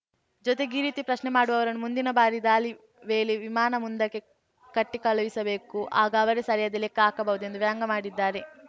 ಜೊತೆಗೆ ಈ ರೀತಿ ಪ್ರಶ್ನೆ ಮಾಡುವವರನ್ನು ಮುಂದಿನ ಬಾರಿ ದಾಳಿ ವೇಳೆ ವಿಮಾನದ ಮುಂದಕ್ಕೆ ಕಟ್ಟಿಕಳುಹಿಸಬೇಕು ಆಗ ಅವರೇ ಸರಿಯಾದ ಲೆಕ್ಕ ಹಾಕಬಹುದು ಎಂದು ವ್ಯಂಗಮಾಡಿದ್ದಾರೆ